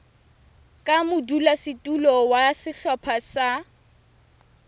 ka modulasetulo wa sehlopha sa